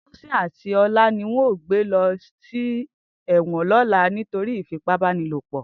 Tosin ati Ola ni won yoo gbe lo si ewon lola nitori ifipabanilopo.